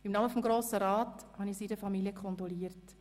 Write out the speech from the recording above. Im Namen des Grossen Rats habe ich seiner Familie kondoliert.